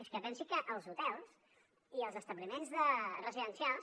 és que pensi que els hotels i els establiments residencials